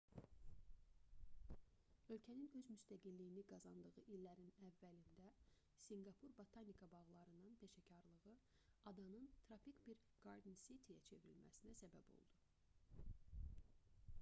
ölkənin öz müstəqilliyini qazandığı illərin əvvəlində sinqapur botanika bağlarının peşəkarlığı adanın tropik bir garden city-yə bağ şəhəri çevrilməsinə səbəb oldu